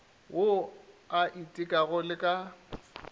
wo o itekago le ka